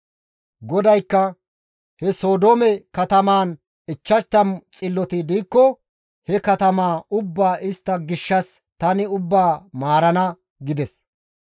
GODAYKKA, «He Sodoome katamaan 50 xilloti diikko he katamaa ubbaa istta gishshas tani ubbaa maarana» gides.